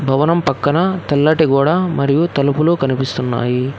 భవనం పక్కన తెల్లటి గోడ మరియు తలుపులు కనిపిస్తున్నాయి.